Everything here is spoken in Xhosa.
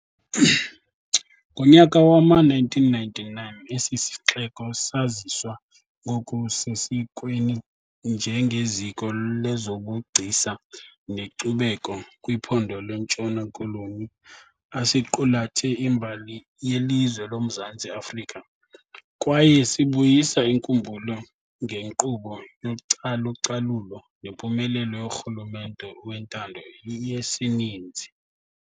Ngonyaka wama 1999 esisixeko saziswa ngoku sesikweni njenge ziko lezobugcisa nekcubeko kwiphondo lentshona koloni asiqulathe imbali yelizwe loMzantsi Afrika kwaye sibuyisa inkumbulo ngekqubo yocalucalulo nempumelelo yorhulumente wentando yesininzi.